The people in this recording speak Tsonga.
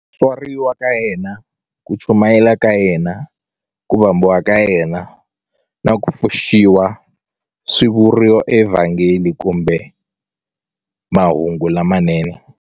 Ku tswariwa ka yena, ku chumayela ka yena, ku vambiwa ka yena, na ku pfuxiwa swi vuriwa eVhangeli kumbe Mahungu lamanene.